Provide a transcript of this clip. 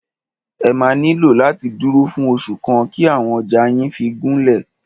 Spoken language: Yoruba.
Ẹ máà nílò láti dúró fún oṣù kan kí àwọn ọjà yín fí gúnlẹ̀.